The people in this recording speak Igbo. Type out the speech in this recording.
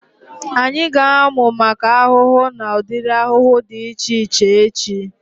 Anyị ga-amu maka ahụhụ na udiri ahụhụ dị iche iche echi